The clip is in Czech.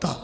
Tak.